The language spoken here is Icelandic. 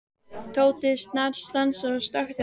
Tóti snarstansaði og stökk til Arnar.